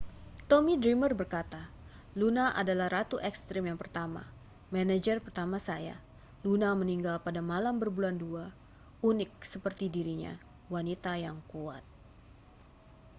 tommy dreamer berkata luna adalah ratu ekstrem yang pertama manajer pertama saya luna meninggal pada malam berbulan dua unik seperti dirinya wanita yang kuat